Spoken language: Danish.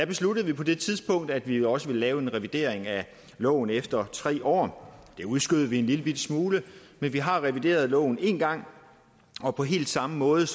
besluttede på det tidspunkt at vi også ville lave en revidering af loven efter tre år det udskød vi en lillebitte smule men vi har revideret loven en gang og på helt samme måde